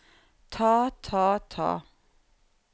ta ta ta